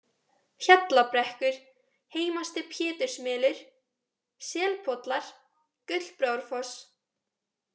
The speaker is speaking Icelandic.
Hjallabrekkur, Heimasti-Pétursmelur, Selpollar, Gullbrárfoss